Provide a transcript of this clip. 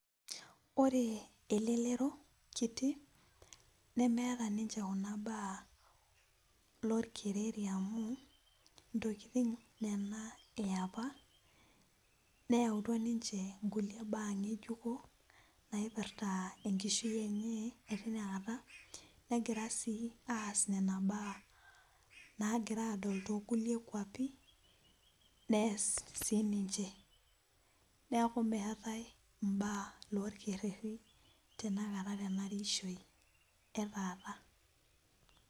Ore elelero kiti nemeeta ninche kuna baa orkereri amu ntokiting enapa nena neyautua ninche kulie baa ngejuko ,naipirta enkishui enye etinakata, negira sii aas nena baa nagira adol tookulie kwapi nees siininche neeku meetae imbaa olkereti tenakata tena ishoi etaata.